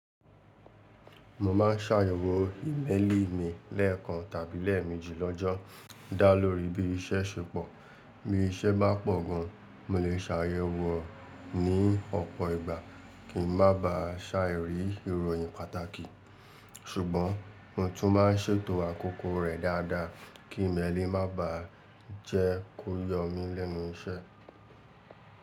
Mo máa ń ṣàyẹwò ìméelì mi lẹ́ẹ̀kan tàbí lẹ́ẹ̀méjì lọ́jọ́, dá lórí bí iṣẹ́ ṣe pọ̀. Bí iṣẹ́ bá pọ̀ gan, mo lè ṣàyẹwò ní ọ̀pọ̀ ìgbà kí n má bà á ṣàirí ìròyìn pàtàkì. Sùgbọ́n mo tún máa ń ṣètò àkóko rẹ̀ dáadáa kí ìméelì má baà jẹ́ kó yọ mí lẹ́nu iṣẹ́.